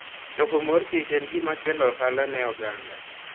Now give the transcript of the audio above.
Choko mor kich en gima kelo ohala ne oganda.